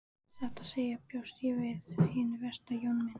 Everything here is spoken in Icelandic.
Satt að segja bjóst ég við hinu versta Jón minn.